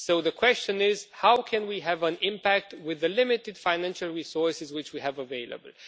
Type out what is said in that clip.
So the question is how can we have an impact with the limited financial resources which we have available?